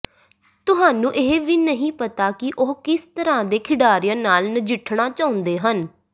ਤੁਹਾਨੂੰ ਇਹ ਵੀ ਨਹੀਂ ਪਤਾ ਕਿ ਉਹ ਕਿਸ ਤਰ੍ਹਾਂ ਦੇ ਖਿਡਾਰੀਆਂ ਨਾਲ ਨਜਿੱਠਣਾ ਚਾਹੁੰਦੇ ਹਨ